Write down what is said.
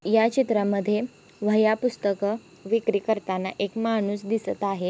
या चित्रामध्ये वह्या पुस्तक विक्री करताना एक माणूस दिसत आहे.